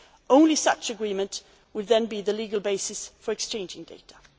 of data. Only such an agreement would then be the legal basis for